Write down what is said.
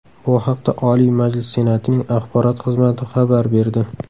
Bu haqda Oliy Majlis Senatining axborot xizmati xabar berdi.